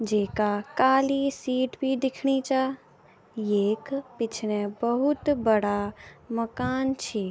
जेका काली सीट भी दिखणी चा येक पिछने बहुत बड़ा मकान छी।